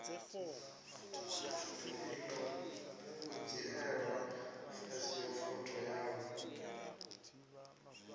iḽo u dzhielwa phasipoto yawe